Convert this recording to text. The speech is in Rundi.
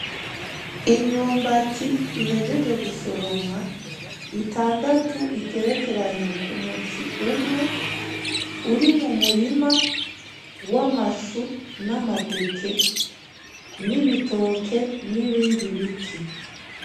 Imyumbati ihejeje gusoromwa, itandatu igerekeranye k'umuzi umwe, uri mu murima w’amashu, n’amateke, n’ibitoke n’ibindi biti.